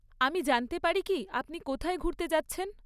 আমি জানতে পারি কি আপনি কোথায় ঘুরতে যাচ্ছেন?